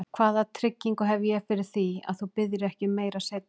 Hvaða tryggingu hef ég fyrir því, að þú biðjir ekki um meira seinna?